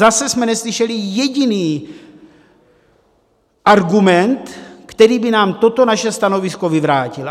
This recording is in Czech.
Zase jsme neslyšeli jediný argument, který by nám toto naše stanovisko vyvrátil.